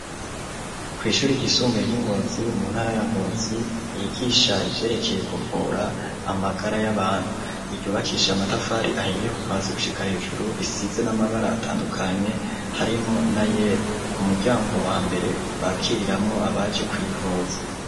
Kwishure ryisumbuye ry'ingozi mu ntara ya ngozi yigisha ivyerekeye kuvura amagara y'abantu ,iryubakishe amatafari ahiye kuva hasi gushika hejuru risize n'amabara atandukanye harimwo na yera ku muryango wa mbere bakiriramwo abaje kwivuza.